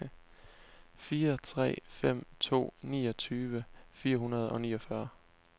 fire tre fem to niogtyve fire hundrede og niogfyrre